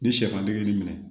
Ni sɛfan bɛ kɛ nin minɛ